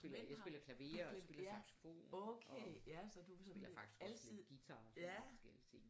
Jeg spiller klaver og jeg spiller saxofon og spiller faktisk også lidt guitar og sådan lidt forskellige ting